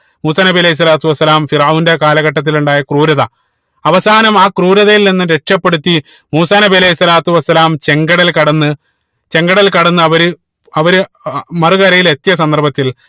മൂസാ നബി അലൈഹി സ്വലാത്തു വസ്സലാം ഫിർഔന്റെ കാലഘട്ടത്തിൽ ഉണ്ടായ ക്രൂരത അവസാനം ആ ക്രൂരതയിൽ നിന്നും രക്ഷപ്പെടുത്തി മൂസാ നബി അലൈഹി സ്വലാത്തു വസ്സലാം ചെങ്കടൽ കടന്ന് ചെങ്കടൽ കടന്ന് അവര് അവര് അഹ് മറുകരയിൽ എത്തിയ സന്ദർഭത്തിൽ